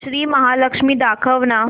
श्री महालक्ष्मी दाखव ना